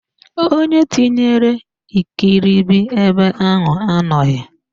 Onye tinyere ikiribi ebe ahụ anọghị